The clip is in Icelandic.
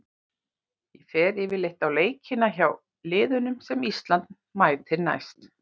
Ég fer yfirleitt á leikina hjá liðunum sem Ísland mætir næst.